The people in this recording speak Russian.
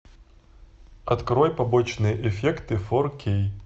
открой побочные эффекты фор кей